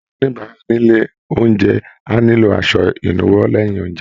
Àwọn oníbàárà nílé oúnjẹ á nílò aṣọ ìnuwọ́ lẹ́yìn oúnjẹ